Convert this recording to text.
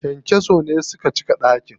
Kyankyason ne suka cika ɗakin.